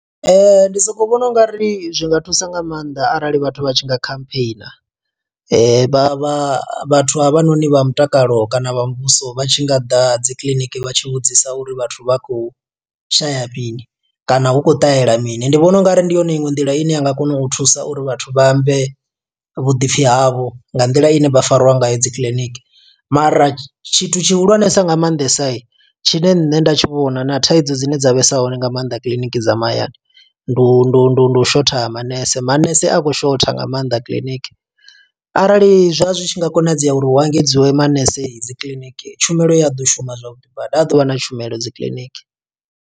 Ndi soko vhona ungari zwi nga thusa nga maanḓa arali vhathu vha tshi nga khampheina. Vha vha vhathu havhanoni vha mutakalo kana vha muvhuso vha tshi nga ḓa dzi kiḽiniki vha tshi vhudzisa uri vhathu vha khou shaya mini, kana hu khou ṱahela mini. Ndi vhona ungari ndi yone iṅwe nḓila ine ya nga kona u thusa uri vhathu vha ambe vhuḓipfi havho nga nḓila ine vha fariwa ngayo dzi kiḽiniki. Mara tshithu tshihulwanesa nga maanḓesa tshine nṋe nda tshi vhona, na thaidzo dzine dza vhesa hone nga maanḓa kiḽiniki dza mahayani. Ndi u ndi u ndi u ndi u shotha ha manese. Manese a khou shotha nga maanḓa kiḽiniki, arali zwa zwi tshi nga konadzea uri hu engedziwe manese dzi kiḽiniki, tshumelo ya ḓo shuma zwavhuḓi badi. Ha ḓovha na tshumelo dzi kiḽiniki.